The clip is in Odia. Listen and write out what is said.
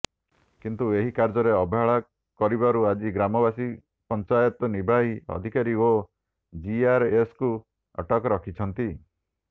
କିନ୍ତୁ ଏହି କାର୍ଯ୍ୟରେ ଅବହେଳା କରିବାରୁ ଆଜି ଗ୍ରାମବାସୀ ପଞ୍ଚାୟତ ନିର୍ବାହୀ ଅଧିକାରୀ ଓ ଜିଆରଏସଙ୍କୁ ଅଟକ ରଖିଛନ୍ତି